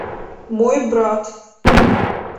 мой брат